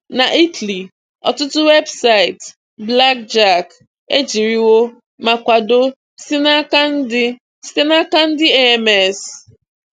Na Italy, ọtụtụ weebụsaịtị bụlakjackị ejiriwo ma kwado site n'aka ndị site n'aka ndị AAMS.